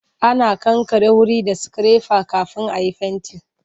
Ana kankare wuri da sikirefa kafin a yi fenti.